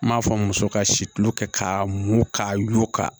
N m'a fɔ muso ka si tulo kɛ k'a mugu k'a yugu ka